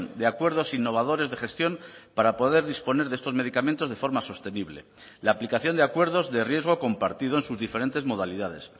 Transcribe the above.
de acuerdos innovadores de gestión para poder disponer de estos medicamentos de forma sostenible la aplicación de acuerdos de riesgo compartido en sus diferentes modalidades